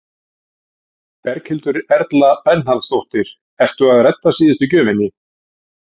Berghildur Erla Bernharðsdóttir: Ertu að redda síðustu gjöfinni?